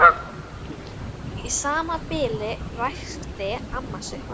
Í sama bili ræskti amma sig.